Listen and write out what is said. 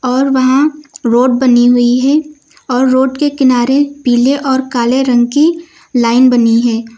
और वहां रोड बनी हुई है और रोड के किनारे पीले और काले रंग की लाइन बनी है।